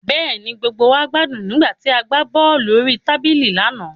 Bẹ́ẹ̀ni, gbogbo wa gbádùn nígbà tí a gbá bọ́ọ̀lù orí tábìlì lánàá